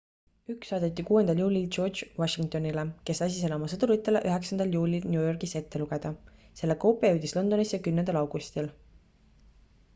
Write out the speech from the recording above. üks saadeti 6 juulil george washingtonile kes lasi selle oma sõduritele 9 juulil new yorgis ette lugeda selle koopia jõudis londonisse 10 augustil